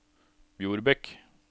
Bjorbekk